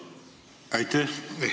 Aitäh!